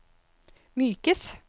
mykes